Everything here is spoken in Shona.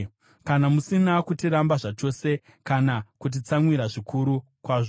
kana musina kutiramba zvachose kana kutitsamwira zvikuru kwazvo.